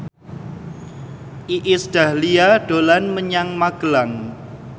Iis Dahlia dolan menyang Magelang